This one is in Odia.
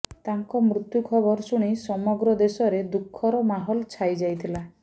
ତାଙ୍କ ମୃତ୍ୟୁ ଖବର ଶୁଣି ସମଗ୍ର ଦେଶରେ ଦୁଃଖର ମାହୋଲ ଛାଇଯାଇଥିଲା